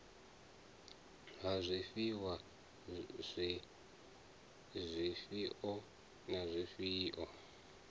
ha zwifhiwa zwifhio na zwifhio